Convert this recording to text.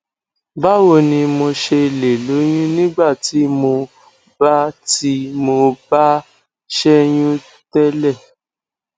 báwo ni mo ṣe lè lóyún nígbà tí mo bá tí mo bá ṣẹyún tele